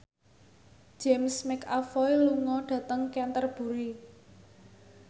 James McAvoy lunga dhateng Canterbury